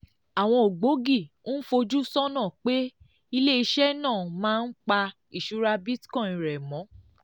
àwọn ògbógi ń fojú sọ́nà pé ilé iṣẹ́ náà máa ń pa ìṣúra bitcoin rẹ̀ mọ́